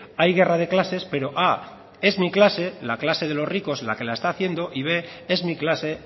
hay guerra de clases pero primero es mi clase la clase de los ricos la que la están haciendo y segundo es mi clase